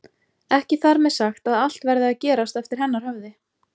Ekki þar með sagt að allt verði að gerast eftir hennar höfði.